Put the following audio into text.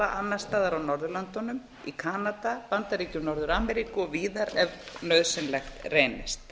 annars staðar á norðurlöndum í kanada bandaríkjum norður ameríku og víðar ef nauðsynlegt reynist